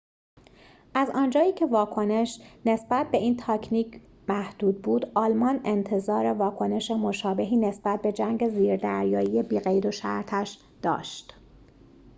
از آنجایی که واکنش نسبت به این تاکتیک محدود بود آلمان انتظار واکنش مشابهی نسبت به جنگ زیردریایی بی‌قیدوشرطش داشت